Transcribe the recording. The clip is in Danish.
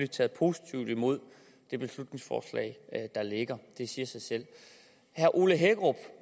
taget positivt imod det beslutningsforslag der ligger det siger sig selv herre ole hækkerup